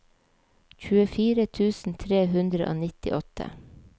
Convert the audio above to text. tjuefire tusen tre hundre og nittiåtte